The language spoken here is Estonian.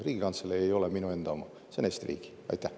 Riigikantselei ei ole minu enda oma, see on Eesti riigi oma.